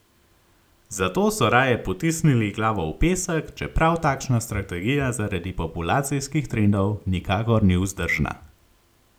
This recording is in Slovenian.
Zato so raje potisnili glavo v pesek, čeprav takšna strategija zaradi populacijskih trendov nikakor ni vzdržna.